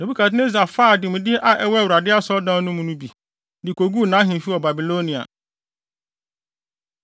Nebukadnessar faa ademude a ɛwɔ Awurade Asɔredan no mu bi, de koguu nʼahemfi wɔ Babilonia.